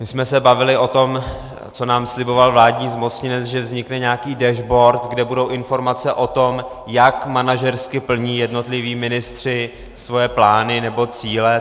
My jsme se bavili o tom, co nám sliboval vládní zmocněnec, že vznikne nějaký dashboard, kde budou informace o tom, jak manažersky plní jednotliví ministři svoje plány nebo cíle.